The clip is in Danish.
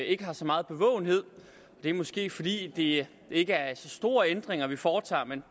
ikke har så meget bevågenhed og det er måske fordi det ikke er så store ændringer vi foretager men